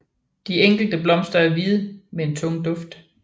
De enkelte blomster er hvide med en tung duft